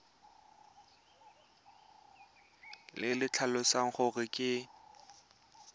le le tlhalosang gore ke